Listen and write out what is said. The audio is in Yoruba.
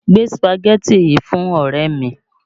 Gbé Sùpàgẹ́tì yìí fún ọ̀rẹ́ mi!